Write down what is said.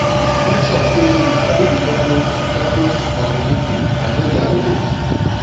make sure say you sabi di purpose purpose of di meeting and know their rules